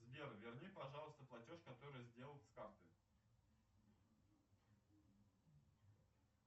сбер верни пожалуйста платеж который сделан с карты